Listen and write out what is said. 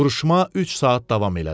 Vuruşma üç saat davam elədi.